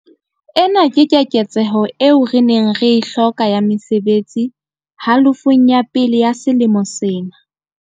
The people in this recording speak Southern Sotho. Ena ke keketseho eo re neng re e hloka ya mesebetsi halofong ya pele ya selemo sena.